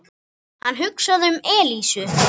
Hann hugsaði um Elísu.